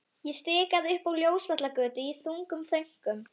Ég stikaði upp á Ljósvallagötu í þungum þönkum.